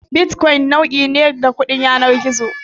Bitcoin nau'i ne da kudin yanar gizo.